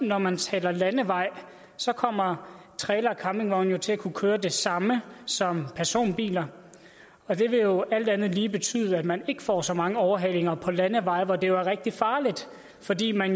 når man taler landeveje så kommer trailere og campingvogne til at kunne køre det samme som personbiler og det vil jo alt andet lige betyde at man ikke får så mange overhalinger på landeveje hvor det er rigtig farligt fordi man